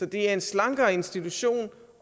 det er en slankere institution